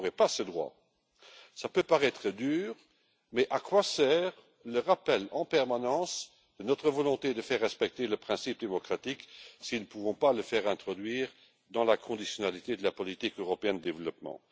Cela peut paraître dur, mais à quoi sert de rappeler en permanence notre volonté de faire respecter le principe démocratique si nous ne pouvons pas l'introduire dans la conditionnalité de la politique européenne de développement?